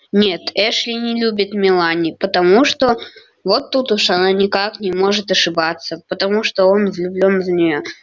нет эшли не любит мелани потому что вот тут уж она никак не может ошибаться потому что он влюблён в неё